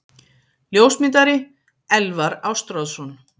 Ljósmyndari: Elvar Ástráðsson.